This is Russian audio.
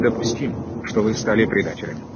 допустим что вы стали предателем